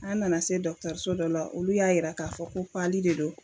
An nana se so dɔ la olu y'a yira k'a fɔ ko de do.